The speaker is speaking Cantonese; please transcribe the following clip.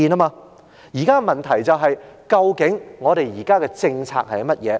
現在的問題是，究竟我們現有政策是甚麼？